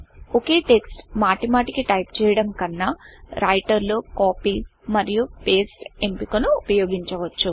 ఒకే text మాటిమాటికి type చేయడం కన్నా రైటర్ లో Copyకాపీ మరియు పాస్టే పేస్ట్ ఎంపికను ఉపయోగించవచ్చు